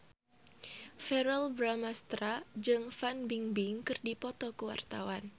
Verrell Bramastra jeung Fan Bingbing keur dipoto ku wartawan